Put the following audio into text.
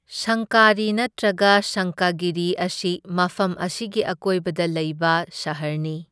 ꯁꯪꯀꯔꯤ ꯅꯠꯇ꯭ꯔꯒ ꯁꯪꯀꯒꯤꯔꯤ ꯑꯁꯤ ꯃꯐꯝ ꯑꯁꯤꯒꯤ ꯑꯀꯣꯏꯕꯗ ꯂꯩꯕ ꯁꯍꯔꯅꯤ꯫